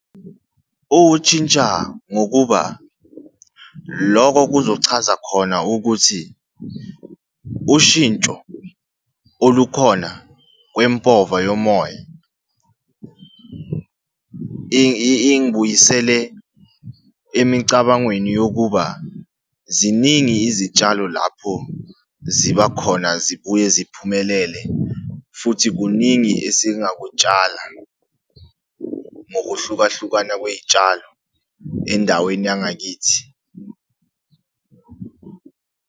Utshintsha ngokuba loko kuzochaza khona ukuthi ushintsho olukhona kwempova yomoya, ingibuyisele emicabangweni yokuba, ziningi izitshalo lapho ziba khona zibuye ziphumelele, futhi kuningi esingakutshala ngokuhlukahlukana kwey'tshalo endaweni yangakithi.